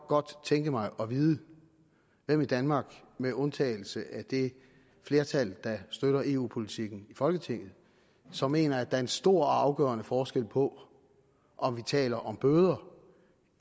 godt tænke mig at vide hvem i danmark med undtagelse af det flertal der støtter eu politikken i folketinget som mener at der er en stor og afgørende forskel på om vi taler om bøder